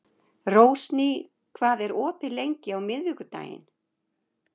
Rósný, hvað er opið lengi á miðvikudaginn?